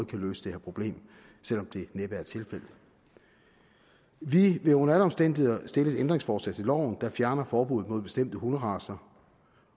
kan løse det her problem selv om det næppe er tilfældet vi vil under alle omstændigheder stille et ændringsforslag til loven der fjerner forbuddet mod bestemte hunderacer